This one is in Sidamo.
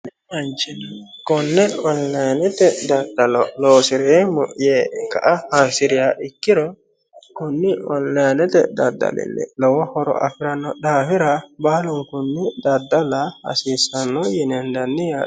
mittu manci konne onlinete loosira loosireemmo yee hasiriha ikkiro konni onlinete daddalinni lowo horo afirannoha ikkino daafira baalunkunni daddala hasiissanno yine hendanni yaate.